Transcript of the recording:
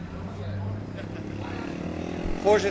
Voorzitter, daar kan ik heel helder over zijn.